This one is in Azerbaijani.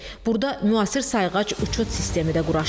Burada müasir sayğac uçot sistemi də quraşdırılıb.